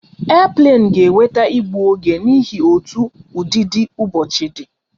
Airplane ga enweta igbu oge n'ihi otú ụdịdị ụbọchị di